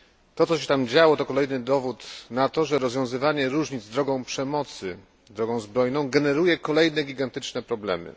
To, co się tam działo, to kolejny dowód na to, że rozwiązywanie różnic drogą przemocy, drogą zbrojną, generuje kolejne gigantyczne problemy.